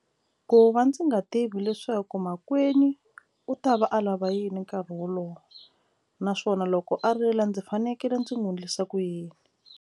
Ku va ndzi nga tivi leswaku makwenu u ta va a lava yini nkarhi wolowo naswona loko a rila ndzi fanekele ndzi n'wi endlisa ku yini.